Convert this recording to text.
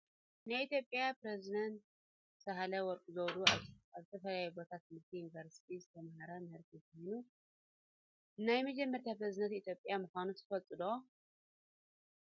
ናይ ኢትዮጵያ ፕሬዝደት ሳህለ ወርቅ ዘውዴ ኣብ ዝተፈላለዩ ቤት ትምህርትን ዩኒቨርስትን ዝተባሃራ ምህርቲ እንትኮና፣ ናይ መጀመርያ ፕሬዝደት ኢትዮጵያ ምኳነን ትፈልጡ ዶ?